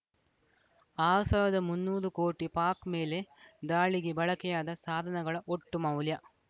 R ಸಾವಿರದ ಮುನ್ನೂರು ಕೋಟಿ ಪಾಕ್‌ ಮೇಲೆ ದಾಳಿಗೆ ಬಳಕೆಯಾದ ಸಾಧನಗಳ ಒಟ್ಟು ಮೌಲ್ಯ